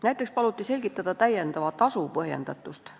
Näiteks paluti selgitada täiendava tasu põhjendatust.